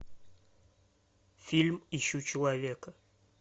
фильм ищу человека